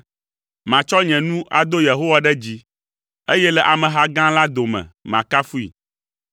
Matsɔ nye nu ado Yehowa ɖe dzi, eye le ameha gã la dome, makafui,